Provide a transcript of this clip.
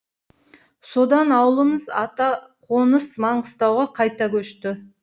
содан ауылымыз атақоныс маңғыстауға қайта көшті